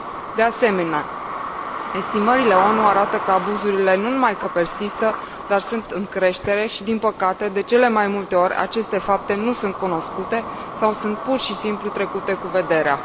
De asemenea, estimările ONU arată că abuzurile nu numai că persistă, dar sunt în creștere și, din păcate, de cele mai multe ori aceste fapte nu sunt cunoscute sau sunt pur și simplu trecute cu vederea.